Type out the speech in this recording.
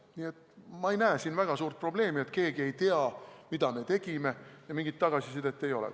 Nii et ma ei näe siin väga suurt probleemi, nagu keegi ei teaks, mida me tegime, ja mingit tagasisidet ei oleks.